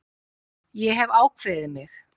Ég hef ákveðið mig.